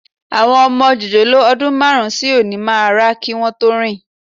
Àwọn ọmọ jòjòló ọdún márùn-ún sí òní máa rá kí wọn tó rìn